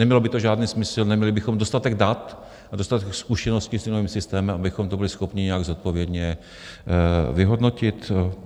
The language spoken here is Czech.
Nemělo by to žádný smysl, neměli bychom dostatek dat a dostatek zkušeností s novým systémem, abychom to byli schopni nějak zodpovědně vyhodnotit.